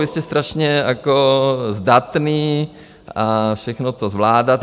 Vy jste strašně zdatný a všechno to zvládáte.